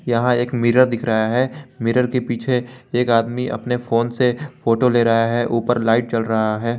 यहां एक मिरर दिख रहा है मिरर के पीछे एक आदमी अपने फोन से फोटो ले रहा है ऊपर लाइट जल रहा है।